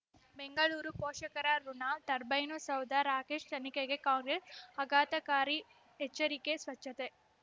ಬೆಂಗಳೂರು ಪೋಷಕರಋಣ ಟರ್ಬೈನು ಸೌಧ ರಾಕೇಶ್ ತನಿಖೆಗೆ ಕಾಂಗ್ರೆಸ್ ಆಘಾತಕಾರಿ ಎಚ್ಚರಿಕೆ ಸ್ವಚ್ಛತೆ